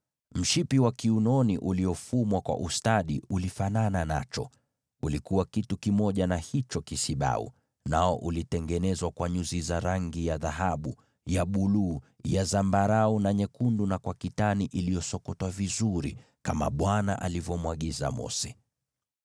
Mshipi wa kiunoni uliofumwa kwa ustadi ulifanana nacho: ulikuwa kitu kimoja na hicho kisibau, nao ulitengenezwa kwa dhahabu na nyuzi za rangi ya buluu, za zambarau, na nyekundu na kwa kitani iliyosokotwa vizuri, kama Bwana alivyomwagiza Mose.